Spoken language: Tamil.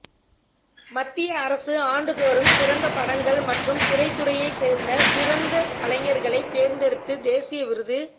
மத்திய அரசு ஆண்டுதோறும் சிறந்த படங்கள் மற்றும் திரைத்துறையை சேர்ந்த சிறந்த கலைஞர்களை தேர்ந்தெடுத்து தேசிய விருது